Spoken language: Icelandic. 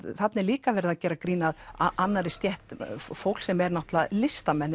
þarna er líka verið að gera grín að annarri stétt fólks sem eru náttúrulega listamenn